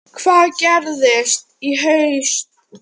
Hvað gerist í haust?